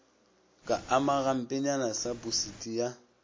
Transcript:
ka ama gampenyana saposidi ya